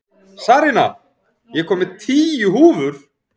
Sarína, ég kom með tíu húfur!